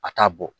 A t'a bɔ